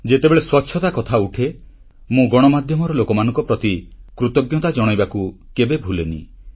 ଯେତେବେଳେ ସ୍ୱଚ୍ଛତା କଥା ଉଠେ ମୁଁ ଗଣମାଧ୍ୟମର ଲୋକମାନଙ୍କ ପ୍ରତି କୃତଜ୍ଞତା ଜଣାଇବାକୁ କେବେ ଭୁଲେନି